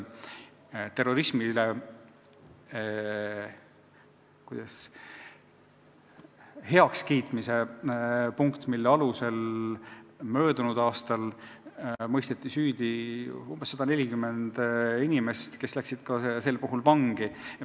Terrorismi heakskiitmise paragrahvi alusel mõisteti möödunud aastal süüdi umbes 140 inimest, kes läksid ka vangi.